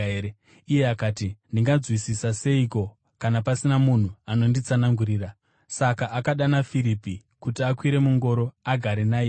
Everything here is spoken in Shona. Iye akati, “Ndinganzwisisa seiko kana pasina munhu anonditsanangurira?” Saka akadana Firipi kuti akwire mungoro agare nayemo.